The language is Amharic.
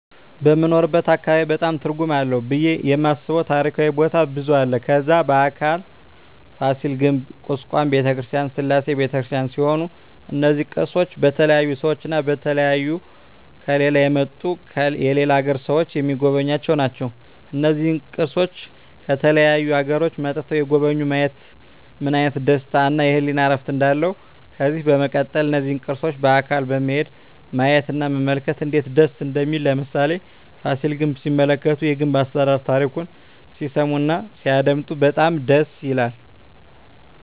በምንኖርበት አካባቢ በጣም ትርጉም አለው ብየ የማስበው ታሪካዊ ቦታ ብዙ አለ ከዛ በአካል ፋሲል ግንብ ኩስካም በተክርስቲያን ስላሴ በተክርስቲያን ሲሆኑ እነዚ ቅርሶች በተለያዩ ሰዎች እና በተለያዩ ከሌላ የመጡ የሌላ አገር ሰዎች ሚጎበኙአቸው ናቸው እና እነዚህን ቅርሶች ከተለያዩ አገሮች መጥተዉ የጎበኙ ማየት ምን አይነት ደስታ እና የህሊና እርፍ እንዳለው ከዚህ በመቀጠል እነዚህን ቅርሶች በአካል በመሄድ ማየት እና መመልከት እነዴት ደስ እንደሚል ለምሳሌ ፋሲል ግንብ ሲመለከቱ የግንብ አሰራሩን ታሪኩን ሲሰሙ እና ሲያደመጡ በጣም ደስ ይላል